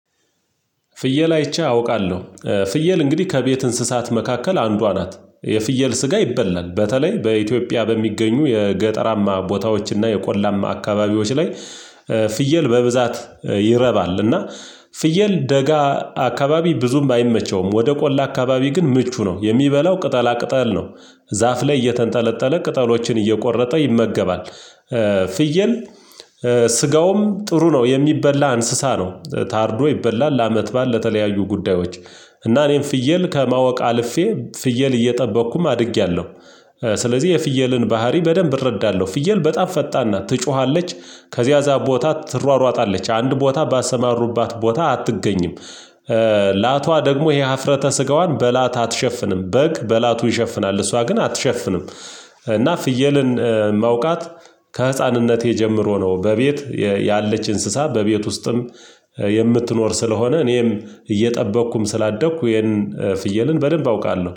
ፍየል አይቼ አውቃለሁ ፍየል እንግዲህ ከቤት እንስሳት መካከል አንዷ ናት የፍየል ስጋ ይበላል በተለይ በኢትዮጵያ በሚገኙ የገጠራማ ቦታዎች እና የቆላማ አካባቢዎች ላይ። ፍየል በብዛት ይረባል እና። ፍየል ደጋ አካባቢ ብዙም አይመቸውም ወደ ቆላ አካባቢ ግን ምቹ ነው የሚበላው ቅጠላ ቅጠል ነው። ዛፍ ላይ እየተንጠለጠለ ቅጠሎችን እየቆረጠ ይመገባል። ፍየል ስጋውም ጥሩ ነው የሚበላ እንስሳ ነው ታርዶ ይበላል ለአመት ባል ለተለያዩ ጉዳዮች። እና እኔም ፍየል ከማወቅ አልፌ ፍየል እየጠበቅኩም አድጊያለሁ። ስለዚህ የፍየልን ባህሪ በደንብ እረዳለሁ ፍየል በጣም ፈጣን ናት ትጮሃለች። ከዚያ እዛ ቦታ ትሯሯጣለች አንድ ቦታ ባሰማሩባት ቦታ አትገኝም። ላቷ ደግሞ ይሄ ሀፍረተ ስጋዋን በላት አትሸፍንም በግ በላቱ ይሸፍናል እሷ ግን አትሸፍንም። እና ፍየልን ማውቃት። ከህፃንነቴ ጀምሮ ነው በቤት ያለች እንስሳ በቤት ውስጥም የምትኖር ስለሆነ እኔም እየጠበቅኩም ስላደግኩ ይሄንን ፍየልን በደንብ አውቃለሁ